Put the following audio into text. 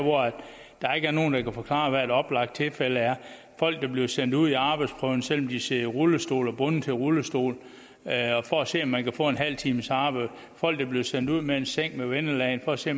der ikke er nogen der kan forklare hvad et oplagt tilfælde er folk bliver sendt ud i arbejdsprøvning selv om de sidder i rullestol og er bundet til rullestol for at se om man kan få en halv times arbejde og folk bliver sendt ud med en seng med vendelagen for at se